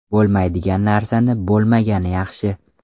Bo‘lmaydigan narsani bo‘lmagani yaxshi.